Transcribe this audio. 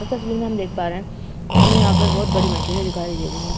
इस तस्वीर में हम देख पा रहे हैं। हमें यहाँ पर बहोत बड़ी मशीनें दिखाई दे रही हैं।